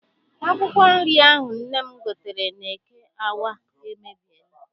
Akwụkwọ nri ahụ nne m gotere n'eke Awka emebiela.